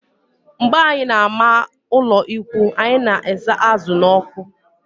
Mgbe anyị na-ama ụlọikwuu, anyị na-esa azụ̀ n'ọkụ